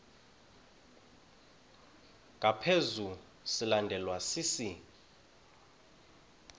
ngaphezu silandelwa sisi